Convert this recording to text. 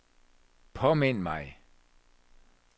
påmind mig